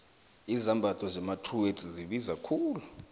izambatho zakwatruworths zibiza khulu